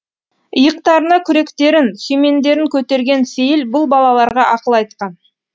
иықтарына күректерін сүймендерін көтерген сейіл бұл балаларға ақыл айтқан